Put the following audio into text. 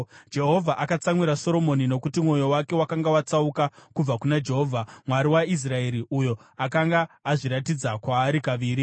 Jehovha akatsamwira Soromoni nokuti mwoyo wake wakanga watsauka kubva kuna Jehovha, Mwari waIsraeri, uyo akanga azviratidza kwaari kaviri.